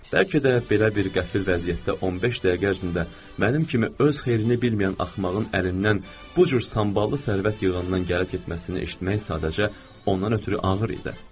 Bəlkə də belə bir qəfil vəziyyətdə 15 dəqiqə ərzində mənim kimi öz xeyrini bilməyən axmağın əlindən bu cür samballı sərvət yığanın danışmasının eşitmək sadəcə ondan ötrü ağır idi.